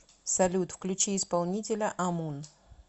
салют включи исполнителя амун